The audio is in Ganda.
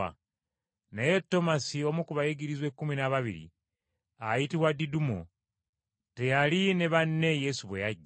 Naye Tomasi, omu ku bayigirizwa ekkumi n’ababiri, ayitibwa Didumo, teyali na banne Yesu bwe yajja.